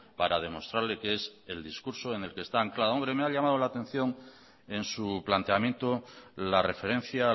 para demostrarle que es el discurso en el que están anclados hombre me ha llamado la atención en su planteamiento la referencia